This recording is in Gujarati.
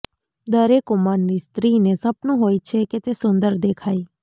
દરેક ઉંમરની સ્ત્રીને સપનું હોય છે કે તે સુંદર દેખાય